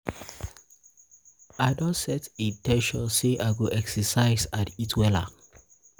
i don set in ten tion say i go exercise and eat wella.